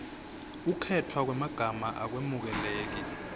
kukhetfwa kwemagama akwemukeleki